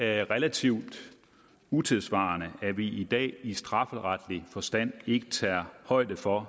er relativt utidssvarende at vi i dag i strafferetlig forstand ikke tager højde for